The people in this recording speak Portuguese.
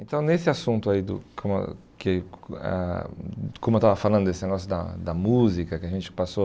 Então nesse assunto aí do com a que ah, como eu estava falando desse negócio da da música, que a gente passou...